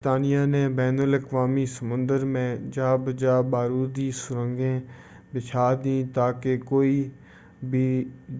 برطانیہ نے بین الاقوامی سمندر میں جا بجا بارودی سرنگیں بچھا دیں تاکہ کوئی بھی